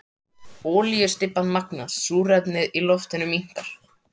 Olíustybban magnast, súrefnið í loftinu minnkar.